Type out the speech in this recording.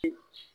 Unhun